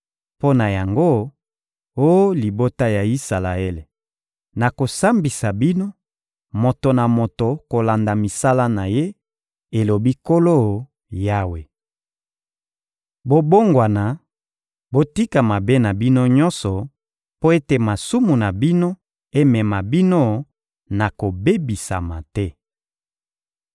Mpo na yango, oh libota ya Isalaele, nakosambisa bino, moto na moto kolanda misala na ye, elobi Nkolo Yawe. Bobongwana, botika mabe na bino nyonso mpo ete masumu na bino emema bino na kobebisama te!